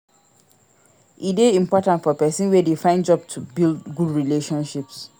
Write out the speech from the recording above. e de important for persin wey de find job to build good relationships